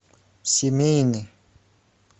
семейный